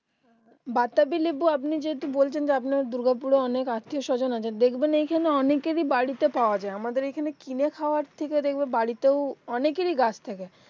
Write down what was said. বাতাবি লেবি আপনি যদি বলছেন যে আপনার দুর্গাপুর এ অনেক আত্বিয়স্বজন আছে দেখবেন এখানে অনেকেরই বাড়িতে পাওয়া যায় আমাদের এখানে কিনে খাওয়ার থেকে দেখবে বাড়িতেও অনেকেরই গাছ থাকে